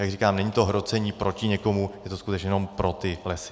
Jak říkám, není to hrocení proti někomu, je to skutečně jenom pro ty lesy.